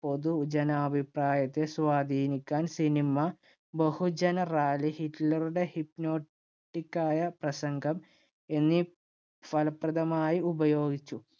പൊതുജനാഭിപ്രായത്തെ സ്വാധീനിക്കാൻ cinema, ബഹുജന റാലികൾ, ഹിറ്റ്ലറുടെ hypnotic ആയ പ്രസംഗം എന്നിവ ഫലപ്രദമായി ഉപയോഗിച്ചു.